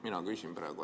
Mina küsin praegu.